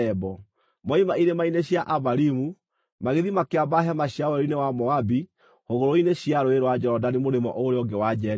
Moima irĩma-inĩ cia Abarimu, magĩthiĩ makĩamba hema ciao werũ-inĩ wa Moabi hũgũrũrũ-inĩ cia Rũũĩ rwa Jorodani mũrĩmo ũrĩa ũngĩ wa Jeriko.